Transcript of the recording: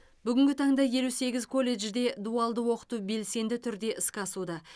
бүгінгі таңда елу сегіз колледжде дуалды оқыту белсенді түрде іске асуда